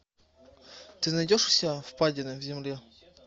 ты найдешь у себя впадина в земле